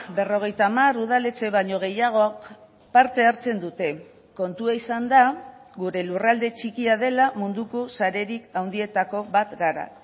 berrogeita hamar udaletxe baino gehiagok parte hartzen dute kontua izan da gure lurralde txikia dela munduko sarerik handietako bat gara